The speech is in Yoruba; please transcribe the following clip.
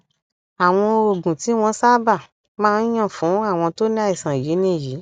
àwọn oògùn tí wọn sábà máa ń yàn fún àwọn tó ní àìsàn yìí nìyí